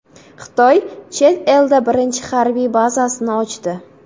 Xitoy chet elda birinchi harbiy bazasini ochdi.